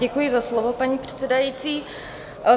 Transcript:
Děkuji za slovo, paní předsedající.